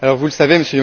Vous le savez, M.